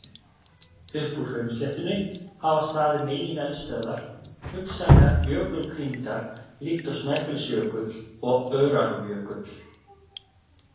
Upp úr hraunsléttunni hafa staðið megineldstöðvar, hugsanlega jökulkrýndar líkt og Snæfellsjökull og Öræfajökull.